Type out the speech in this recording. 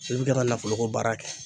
i bi ka nafolo ko baara kɛ